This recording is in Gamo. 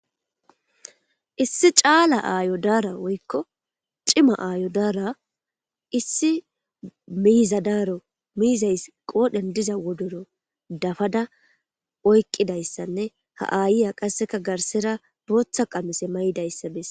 Issi caala aayo daara woykko cima aayo daara issi miizadaaro miizays qoodhen diza wodoro dafada oyqidayssanne ha aayiya qasseka garsera booththa qamose may7dayssa besse